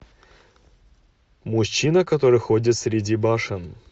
мужчина который ходит среди башен